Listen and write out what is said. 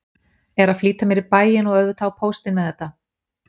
Er að flýta mér í bæinn og auðvitað á póstinn með þetta.